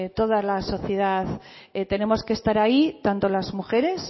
toda la sociedad tenemos que estar ahí tanto las mujeres